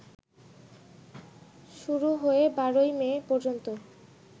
শুরু হয়ে ১২ই মে পর্যন্ত